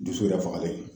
Dusu yɛrɛ fagalen don